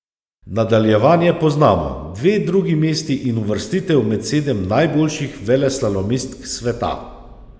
Nadaljevanje poznamo, dve drugi mesti in uvrstitev med sedem najboljših veleslalomistk sveta.